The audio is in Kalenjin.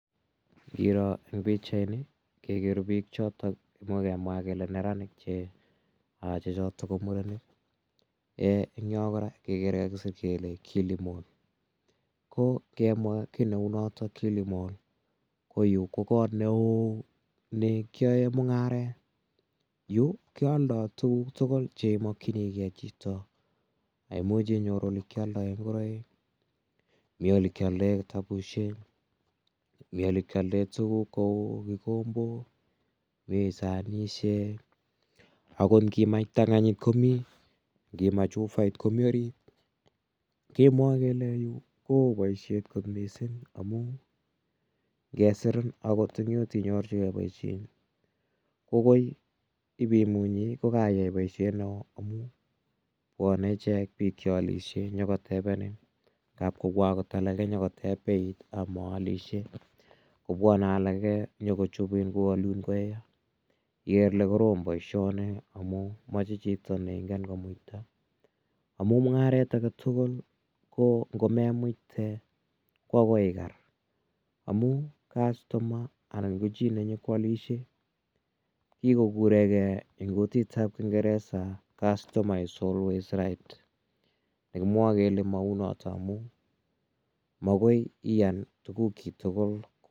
Iroo eng pichaini kegere biik choton moekemwa kele neranik che choto ko murenik. Eng yo kora kegere kagisir kele kilimall. Ko kemwa kitneu notok kilimall, ko yu ko kot neo nekion mungaret. Yu keoldo tuguk tugul chemakyinige chito. Imuchi inyoru yekialdoen ingoroik, mi olekialdoen kitabusiek mi olekialdoen tuguk kou kigombok, mi sanisiek agot ngimach ptanganyit komi. Ngimach ufait komi orit. Kemwoe kele yu koo boisiet kot mising amun ngesirin akot imuch inyorchige boisiet eng yu. Ko koi ibaimunyi ko kayai boisiet neo amun bwane ichek biik che alisie nyokotebenin. Ngab kobwa agot alage nyokotebenin beit amaalisie. Kobwane alage nyogochupin, kowalun koya. Igere ile korom boisioni amun moche chito ne ingen komuita amun mungaret agetugul ko ngomemuite ko agoi iker, amu kastoma anan ko chi nenyokwalisie, kikogurege en kutitab kingeresa customer is always right nekimwoe kele mau noto amu makoi iyan tuguk chi tugul.